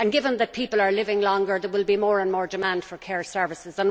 Given that people are living longer there will be more and more demand for care services.